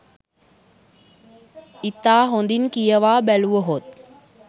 ඉතා හොඳින් කියවා බැලුවහොත්